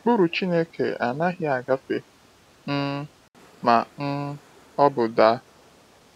Ụkpụrụ Chineke anaghị agafe um ma um ọ bụ daa.